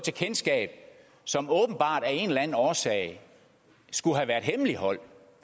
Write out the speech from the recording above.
som åbenbart af en eller anden årsag skulle have været hemmeligholdt